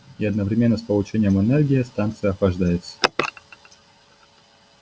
и одновременно с получением энергии станция охлаждается